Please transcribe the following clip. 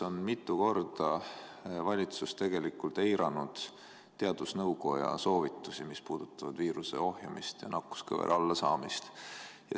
Ometi on valitsus mitu korda eiranud teadusnõukoja soovitusi, mis puudutavad viiruse ohjamist ja nakkuskõvera allasaamist.